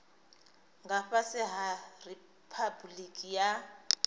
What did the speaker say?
nga fhasi ha riphabuliki ya